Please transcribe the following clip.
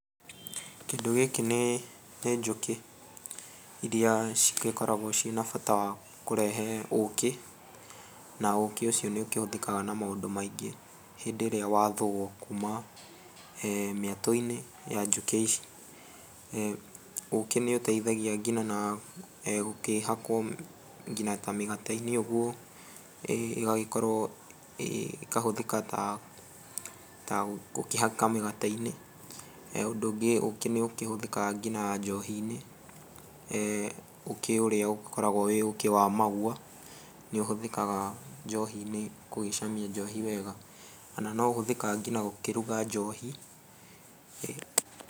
Kĩndũ gĩkĩ nĩ njũkĩ iria cigĩkoragwo ciĩna bata wa kũrehe ũkĩ na ũkĩ ũcio nĩũkĩhũthĩkaga na maũndũ maingĩ hĩndĩ ĩrĩa wathuo kuma mĩetũ-inĩ ya njũkĩ ici. Ũkĩ nĩũteithagia ngina na gũkĩhakwo ngina ta mĩgate-inĩ ũguo ĩgagĩkorwo, ĩkahũthĩka ta gũkĩhaka mĩgate-inĩ. He ũndũ ũngĩ, ũkĩ nĩ ũkĩhũthĩkaga ngina njohi-nĩ ũkĩũrĩa ũgĩkoragwo wĩ ũkĩ wa Maua, nĩũhũthĩkaga njohi-Inĩ gũgĩcamia njohi wega. Ona no ũhũthĩkaga ngina gũkĩruga njohi.